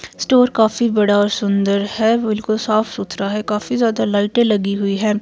Store काफी बड़ा और सुंदर है बिल्कुल साफ सुथरा है काफी ज्यादा लाइटें लगी हुई है।